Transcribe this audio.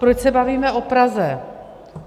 Proč se bavíme o Praze?